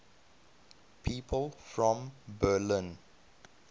people from berlin